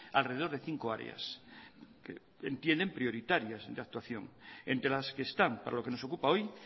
alrededor de cinco áreas entienden prioritarias de actuación entre las que están para lo que nos ocupa hoy